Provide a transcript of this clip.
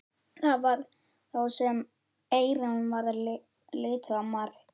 Það var þá sem Eyrúnu varð litið á Mark.